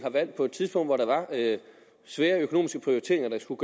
på et tidspunkt hvor der var svære økonomiske prioriteringer der skulle